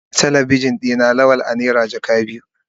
An gyaran Telebijin na Lawal a naira jaka biyu.